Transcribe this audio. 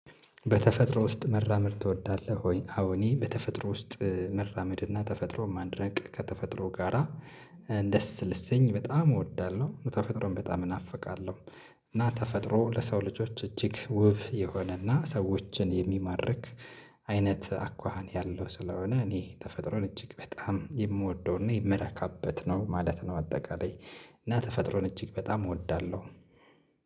በተፈጥሮ ውስጥ መራመድ ትወዳለህ ወይ? አዎ እኔ በተፈጥሮ ውስጥ መራመድ እና ተፈጥሮ ማድነቅ ከተፈጥሮ ጋራ ደስ ልሰኝ በጣም እወዳለሁ ተፈጥሮን በጣም እናፍቃለሁ። እና ተፈጥሮ ለሰው ልጆች እጅግ ውብ የሆነና ሰዎችን የሚማርክ አይነት አኳኋን ያለው ስለሆነ እኔ ተፈጥሮን እጅግ በጣም የምወደውና የምረካበት ነው ማለት ነው። አጠቃላይ እና ተፈጥሮን እጅግ በጣም እወዳለሁ።